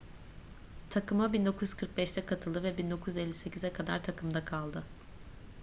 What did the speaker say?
takıma 1945'te katıldı ve 1958'e kadar takımda kaldı